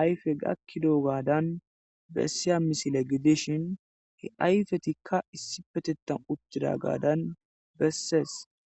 ayfe gakidadanbesiza misile gidishin issipetethan uttidagadan besses